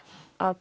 að